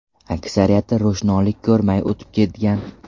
Aksariyati ro‘shnolik ko‘rmay o‘tib ketgan.